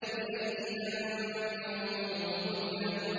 بِأَيِّ ذَنبٍ قُتِلَتْ